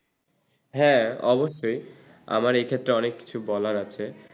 হ্যা অবশ্যই আমার এক্ষেত্রে অনেক কিছু বলার আছে।